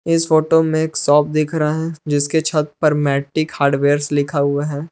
इस फोटो में एक शॉप दिख रहा है जिसके छत पर मेटिक हार्डवेयर लिखा हुआ है।